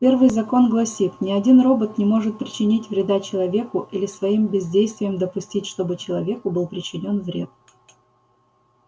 первый закон гласит ни один робот не может причинить вреда человеку или своим бездействием допустить чтобы человеку был причинен вред